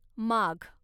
माघ